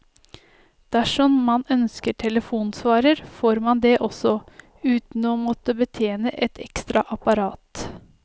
Dersom man ønsker telefonsvarer, får man det også, uten å måtte betjene et ekstra apparat.